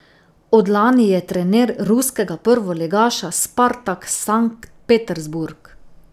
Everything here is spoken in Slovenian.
Od lani je trener ruskega prvoligaša Spartak Sankt Petersburg.